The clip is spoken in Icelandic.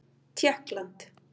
Tékkland